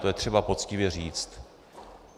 To je třeba poctivě říct.